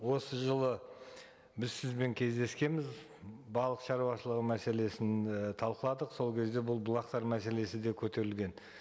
осы жылы біз сізбен кездескенбіз балық шаруашылығы мәселесін і талқыладық сол кезде бұл бұлақтар мәселесі де көтерілген